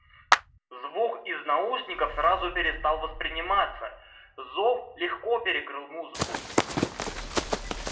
звук из наушников сразу перестал восприниматься зов легко перекрыл музыку